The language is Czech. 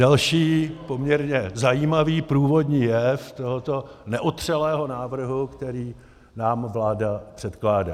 Další poměrně zajímavý průvodní jev tohoto neotřelého návrhu, který nám vláda předkládá.